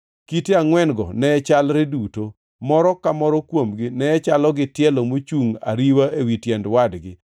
Kite angʼwen-go ne chalre duto; moro ka moro kuomgi ne chalo gi tielo mochungʼ ariwa ewi tiend wadgi.